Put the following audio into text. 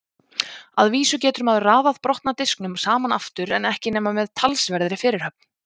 Að vísu getur maður raðað brotna disknum saman aftur en ekki nema með talsverðri fyrirhöfn.